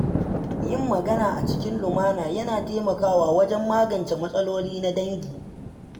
Yin magana a cikin lumana yana taimakawa wajen magance matsaloli na dangi.